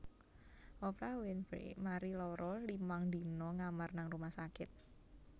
Oprah Winfrey mari lara limang dina ngamar nang rumah sakit